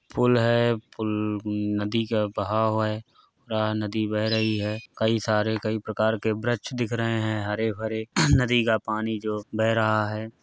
Pool है पूल म नदी का बहाव है पूरा नदी बह रही है। कई सारे कई प्रकार के वृक्ष दिख रहे हैं हरे-भरे नदी का पानी जो बह रहा है --